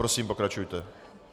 Prosím, pokračujte.